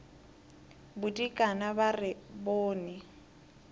bodikana ba re ba bone